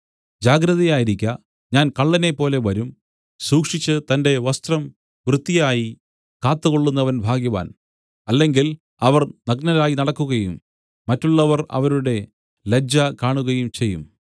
ജാഗ്രതയായിരിക്ക ഞാൻ കള്ളനെപ്പോലെ വരും സൂക്ഷിച്ച് തന്റെ വസ്ത്രം വൃത്തിയായി കാത്തുകൊള്ളുന്നവൻ ഭാഗ്യവാൻ അല്ലെങ്കിൽ അവർ നഗ്നരായി നടക്കുകയും മറ്റുള്ളവർ അവരുടെ ലജ്ജ കാണുകയും ചെയ്യും